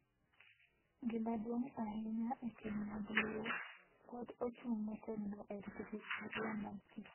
Gima duong’ ahinya e keny mag Luo pod ochung’ motegno e rito historia mar kitgi.